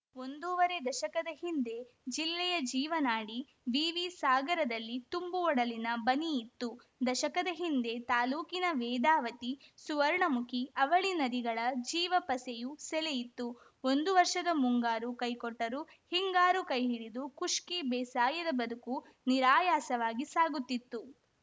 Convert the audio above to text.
ಒಂದೂವರೆ ದಶಕದ ಹಿಂದೆ ಜಿಲ್ಲೆಯ ಜೀವನಾಡಿ ವಿವಿ ಸಾಗರದಲ್ಲಿ ತುಂಬು ಒಡಲಿನ ಬನಿಯಿತ್ತು ದಶಕದ ಹಿಂದೆ ತಾಲೂಕಿನ ವೇದಾವತಿ ಸುವರ್ಣಮುಖಿ ಅವಳಿ ನದಿಗಳ ಜೀವಪಸೆಯು ಸೆಲೆಯಿತ್ತು ಒಂದು ವರ್ಷದ ಮುಂಗಾರು ಕೈಕೊಟ್ಟರೂ ಹಿಂಗಾರು ಕೈಹಿಡಿದು ಖುಷ್ಕಿ ಬೇಸಾಯದ ಬದುಕೂ ನಿರಾಯಾಸವಾಗಿ ಸಾಗುತ್ತಿತ್ತು